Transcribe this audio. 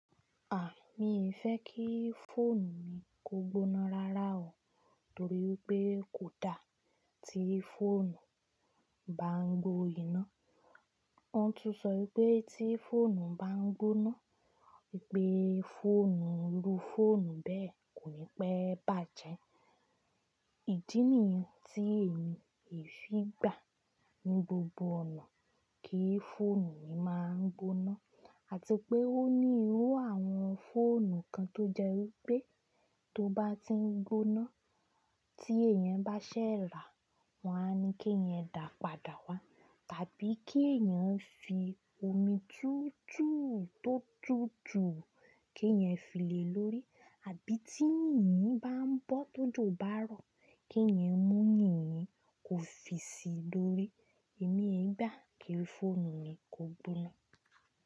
À, mí ò fẹ́ kí fóònù mi kó gbóná rárá o, torí pé kò dá tí fóònù bá ń gbo iná. Wọ́n tún sọ wípé tí fóònù bá ń gbóná, wípé fóònù irú fóònù bẹ́ẹ̀ kò ní pẹ́ bàjẹ́. Ìdí nìyí tí èmi è fi gbà ní gbogbo ọ̀nà kí fóònù mi má gboná àti pé ó ní irú àwọn fóònù kan tó jẹ́ wípé tó bá ti ń gbóná tí èèyàn bá ṣẹ̀ rà wọ́n a ní kí èèyàn dà padà wá tàbí kí èèyàn fi omi tútù tó tútù kí èèyàn fìlé lórí, àbí tí yìnyín bá ń bọ́ tójò bá rọ̀ kí èèyàn mú yìnyín kó fi si lórí. Èmi he gbà kí fóònù mi kó gbóná.